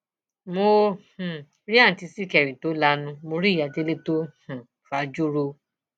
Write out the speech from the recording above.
mo um rí àùntí ṣìkẹrì tó lanu mọ rí ìyá délé tó um fajú ro